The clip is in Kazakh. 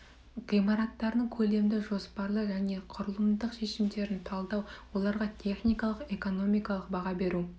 ғимараттардың көлемді жоспарлы және құрылымдық шешімдерін талдау оларға техникалық экономикалық баға беру